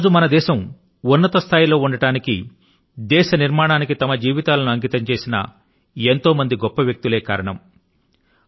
ఈ రోజు మన దేశం ఉన్నత స్థాయి లో ఉండడానికి దేశ నిర్మాణానికి తమ జీవితాలను అంకితం చేసిన ఎంతో మంది గొప్ప వ్యక్తులే కారణం